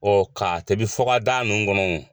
Ɔɔ ka tobi fɔka daa nunnu kɔnɔ wo.